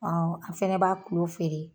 an fɛnɛ b'a feere.